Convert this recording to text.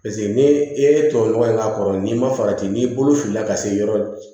paseke ni i ye tuwawu nɔgɔ in k'a kɔrɔ n'i ma farati n'i bolo filila ka se yɔrɔ